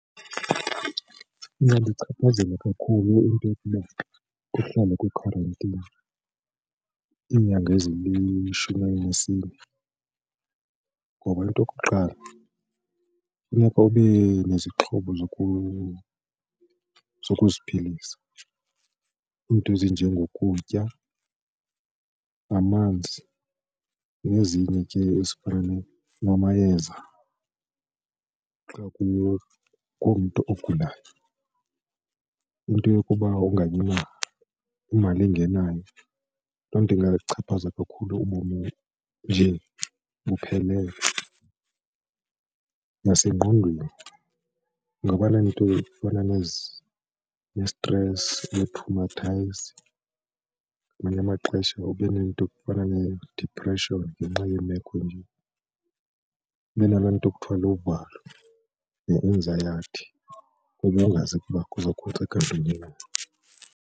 Ingandichaphazela kakhulu into yokuba kuhlalwe kwi-quarantine iinyanga ezilishumi elinesine ngoba into okokuqala kufuneka ube nezixhobo zokuziphilisa, iinto ezinjengokutya, amanzi nezinye ke ezifana namayeza xa kukho umntu ogulayo. Into yokuba ungabi namali ingenayo loo nto ingachaphaza kakhulu ubomi nje buphelele nasengqondweni ungaba neento ezifana nesitresi netromathayizi ngamanye amaxesha ube nento efana nee-depression ngenxa yeemeko, ube nalaa nto kuthiwa luvalo ne-anxiety kuba ungazi kuba .